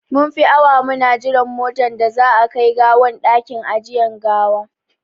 Mun fi awa muna jiran motan da za a a kai gawan dakin ajiyan gawaki.